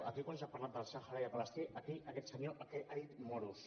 aquí quan s’ha parlat del sàhara i de palestí aquí aquest senyor ha dit moros